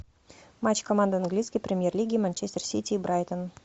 матч команды английской премьер лиги манчестер сити и брайтон